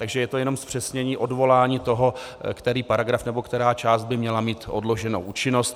Takže je to jenom zpřesnění odvolání toho, který paragraf nebo která část by měla mít odloženou účinnost.